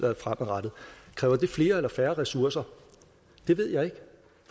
fremadrettet kræver det flere eller færre ressourcer det ved jeg ikke